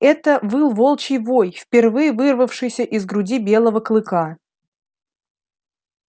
это выл волчий вой впервые вырвавшийся из груди белого клыка